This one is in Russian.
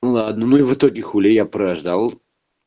ладно ну и в итоге хули я прождал